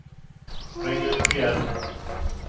ring upp igen